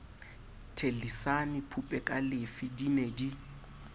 thellisane phupekalefe di ne di